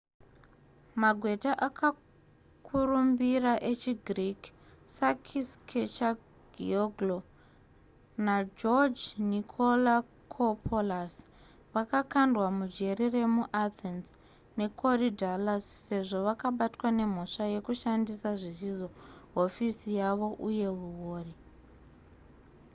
magweta akakurumbira echigreek sakis kechagioglou nageoge nikolakopoulos vakakandwa mujeri remuathens yekorydallus sezvo vakabatwa nemhosva yekushandisa zvisizvo hofisi yavo uye huori